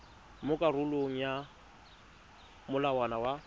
mo karolong ya molawana wa